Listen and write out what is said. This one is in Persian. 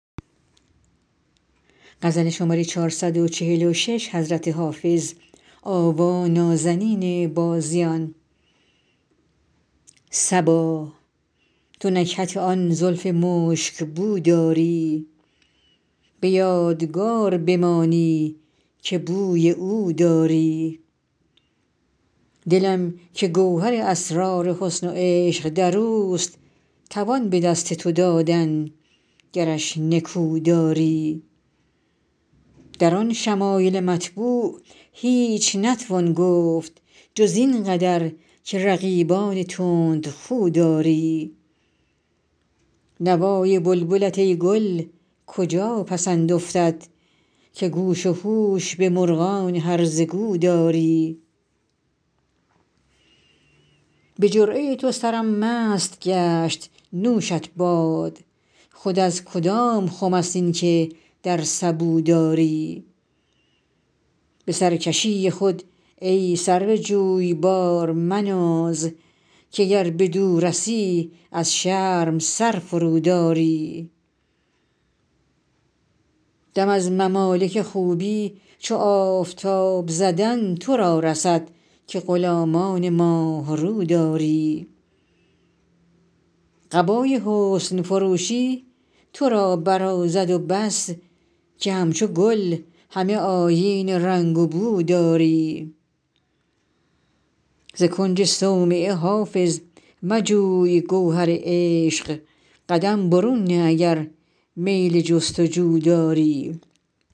صبا تو نکهت آن زلف مشک بو داری به یادگار بمانی که بوی او داری دلم که گوهر اسرار حسن و عشق در اوست توان به دست تو دادن گرش نکو داری در آن شمایل مطبوع هیچ نتوان گفت جز این قدر که رقیبان تندخو داری نوای بلبلت ای گل کجا پسند افتد که گوش و هوش به مرغان هرزه گو داری به جرعه تو سرم مست گشت نوشت باد خود از کدام خم است این که در سبو داری به سرکشی خود ای سرو جویبار مناز که گر بدو رسی از شرم سر فروداری دم از ممالک خوبی چو آفتاب زدن تو را رسد که غلامان ماه رو داری قبای حسن فروشی تو را برازد و بس که همچو گل همه آیین رنگ و بو داری ز کنج صومعه حافظ مجوی گوهر عشق قدم برون نه اگر میل جست و جو داری